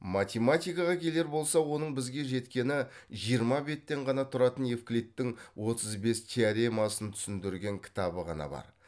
математикаға келер болсақ оның бізге жеткені жиырма беттен ғана тұратын евклидтің отыз бес теоремасын түсіндірген кітабы ғана бар